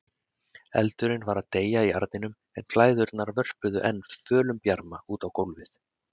Eldurinn var að deyja í arninum en glæðurnar vörpuðu enn fölum bjarma út á gólfið.